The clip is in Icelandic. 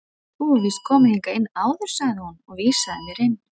Þú hefur víst komið hingað inn áður sagði hún og vísaði mér inn.